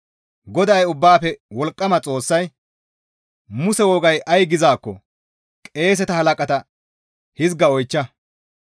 GODAY Ubbaafe Wolqqama Xoossay, «Muse wogay ay gizaakko qeeseta halaqata hizga oychcha.